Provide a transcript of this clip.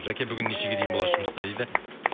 жаке бүгін нешеге дейін боласыз жұмыста дейді